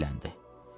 Kişi dilləndi.